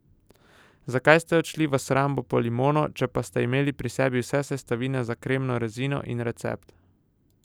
Zakaj ste odšli v shrambo po limono, če pa ste imeli pri sebi vse sestavine za kremno rezino in recept?